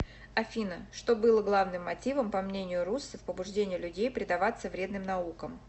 афина что было главным мотивом по мнению руссо в побуждении людей предаваться вредным наукам